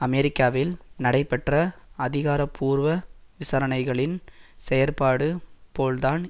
அமெரிக்காவில் நடைபெற்ற அதிகாரபூர்வ விசாரணைகளின் செயற்பாடு போல்தான்